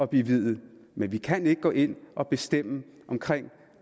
blive viet men vi kan ikke gå ind og bestemme for